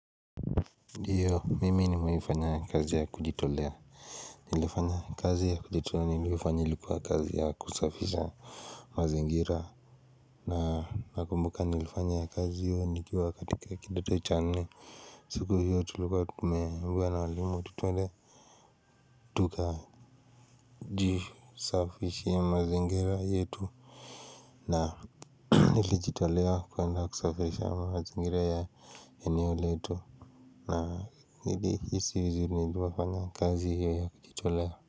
Hiyo mimi ni mewai fanya kazi ya kujitolea nilifanya kazi ya kujitolea nilivyofanya ilikuwa kazi ya kusafisha mazingira na nakumbuka nilifanya kazi hio nikiwa katika kidoto cha nne siku hiyo tulikwa tumeambiwa na walimu ati twende tukajisafisiea mazengira yetu na nilijitolea kwenda kusafisha mazingira ya eneo letu na nilihisi vizuri nilipofanya kazi hio ya kujitolea.